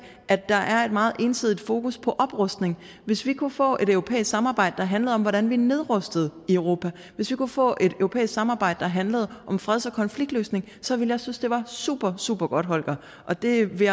at der er et meget ensidigt fokus på oprustning hvis vi kunne få et europæisk samarbejde der handlede om hvordan vi nedrustede i europa hvis vi kunne få et europæisk samarbejde der handlede om freds og konfliktløsning så ville jeg synes det var supersupergodt holger og det vil